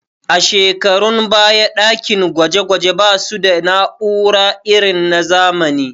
A shekarun baya ɗakin gwaje gwaje ba su da na'ura irin na zamani